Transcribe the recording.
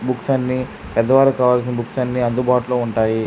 Books అన్నిపెద్దవారు కావాల్సిన books అన్ని అందుబాటులో ఉంటాయి.